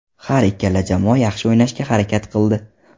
Har ikkala jamoa yaxshi o‘ynashga harakat qildi.